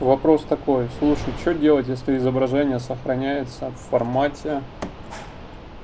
вопрос такой слушай что делать если изображение сохраняется в формате